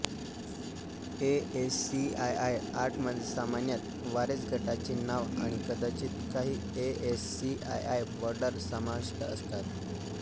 ASCII आर्टमध्ये सामान्यत warez गटाचे नाव आणि कदाचित काही एएससीआयआय बॉर्डर समाविष्ट असतात